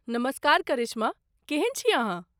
नमस्कार करिश्मा, केहन छी अहाँ?